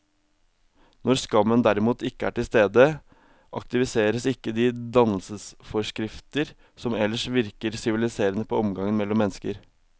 Når skammen derimot ikke er til stede, aktiveres ikke de dannelsesforskrifter som ellers virker siviliserende på omgangen mellom mennesker.